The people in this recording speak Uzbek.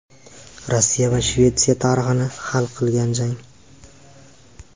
Rossiya va Shvetsiya tarixini hal qilgan jang.